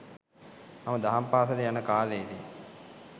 මම දහම් පාසල් යන කාලයේදී